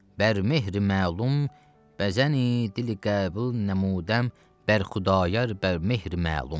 Bə mehri məlum, bəzəni dili qəbul nəmüdəm Bərxudayar bə mehri məlum.